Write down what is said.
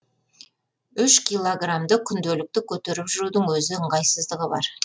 үш киллограмды күнделікті көтеріп жүрудің өз ыңғайсыздығы бар